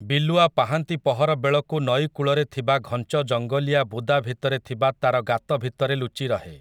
ବିଲୁଆ ପାହାନ୍ତି ପହର ବେଳକୁ ନଈକୂଳରେ ଥିବା ଘଂଚ ଜଙ୍ଗଲିଆ ବୁଦା ଭିତରେ ଥିବା ତା'ର ଗାତ ଭିତରେ ଲୁଚିରହେ ।